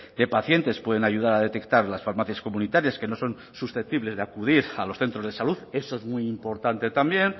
de pacientes pueden ayudar a detectar las farmacias comunitarias que no son susceptibles de acudir a los centros de salud eso es muy importante también